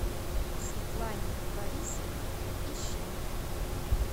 светлане борисовне ищенко